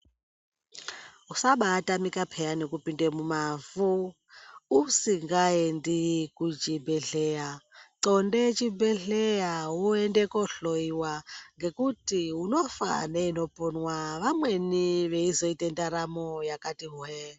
Usa baatamike pheyani kupinde mumavhu, usingaendi kuchibhedhlera, qonde chibhedhlera woenda koohloiwa, ngekuti unofa neinoponwa vamweni veizoita ndaramo yakati hweee.